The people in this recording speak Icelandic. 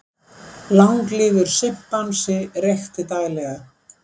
Langlífur simpansi reykti daglega